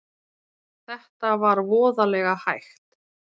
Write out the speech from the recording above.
Þetta var voðalega hægt.